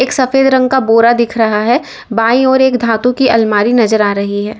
एक सफेद रंग का बोरा दिख रहा है बाई ओर एक धातु की अलमारी नजर आ रही है।